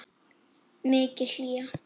Mikil hlýja.